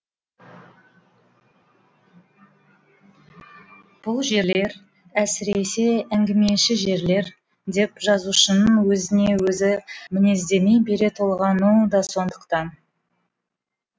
бұл жерлер әсіресе әңгімеші жерлер деп жазушының өзіне өзі мінездеме бере толғануы да сондықтан